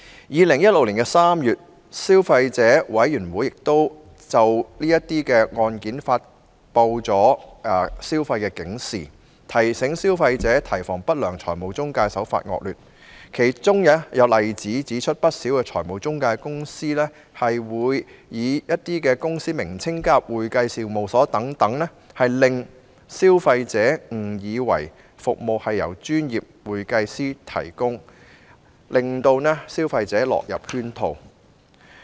2016年3月，消費者委員會曾就有關案件發出消費警示，提醒消費者提防不良財務中介的惡劣手法，而其中有例子顯示，不少財務中介公司在公司名稱中加入"會計事務所"等字眼，令消費者誤以為有關服務是由專業會計師提供，因而落入圈套。